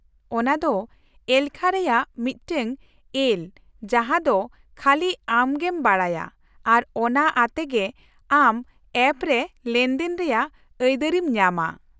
-ᱚᱱᱟ ᱫᱚ ᱖ ᱮᱞᱠᱷᱟ ᱨᱮᱭᱟᱜ ᱢᱤᱫᱴᱟᱝ ᱮᱞ ᱡᱟᱦᱟᱸ ᱫᱚ ᱠᱷᱟᱹᱞᱤ ᱟᱢᱜᱮᱢ ᱵᱟᱰᱟᱭᱟ, ᱟᱨ ᱚᱱᱟ ᱟᱛᱮᱜᱮ ᱟᱢ ᱮᱯ ᱨᱮ ᱞᱮᱱᱫᱮᱱ ᱨᱮᱭᱟᱜ ᱟᱹᱭᱫᱟᱹᱨᱤᱢ ᱧᱟᱢᱟ ᱾